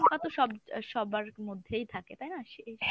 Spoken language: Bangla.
সব সবার মধ্যেই থাকে তাই না?